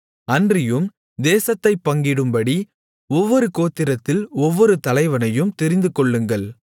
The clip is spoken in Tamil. அன்றியும் தேசத்தைப் பங்கிடும்படி ஒவ்வொரு கோத்திரத்தில் ஒவ்வொரு தலைவனையும் தெரிந்துகொள்ளுங்கள்